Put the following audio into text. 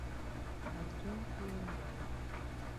артем куланбаев